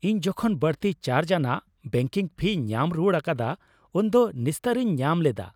ᱤᱧ ᱡᱚᱠᱷᱚᱱ ᱵᱟᱹᱲᱛᱤ ᱪᱟᱨᱡᱽᱼᱟᱱᱟᱜ ᱵᱮᱝᱠᱤᱝ ᱯᱷᱤ ᱧᱟᱢ ᱨᱩᱣᱟᱹᱲ ᱟᱠᱟᱫᱟ ᱩᱱᱫᱚ ᱱᱤᱥᱛᱟᱹᱨᱤᱧ ᱧᱟᱢ ᱞᱮᱫᱟ ᱾